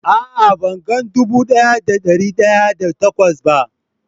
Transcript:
A'a, ban gan dubu daya da da dari daya da takwas ba.